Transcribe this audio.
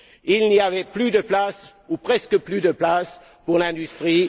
Il n'y avait plus de place, ou presque plus de place, pour l'industrie.